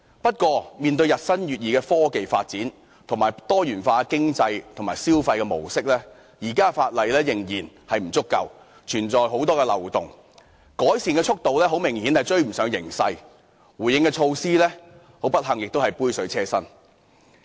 不過，面對日新月異的科技發展及多元化的經濟及消費模式，現時的法例仍然不足夠，存在很多漏洞，改善速度明顯趕不上形勢，而不幸地，回應措施亦是杯水車薪。